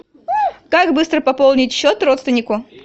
как быстро пополнить счет родственнику